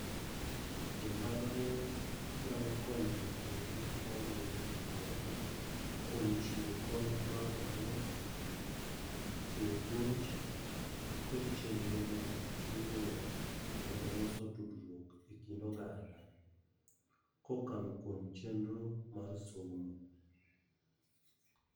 Jo mbalariany nyalo konyo jopuonjre ma wuok e gwenge kuom chiwo kony mar omuom, chiwo puonj kod chenro mag luwo kendo loso tudtruok e kind oganda. Kokalo kuom chenro mar somo.